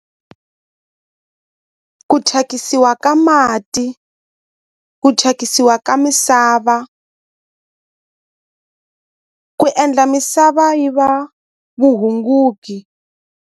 Ku thyakisiwa ka mati ku thyakisiwa ka misava ku endla misava yi va vuhunguki.